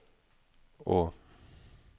å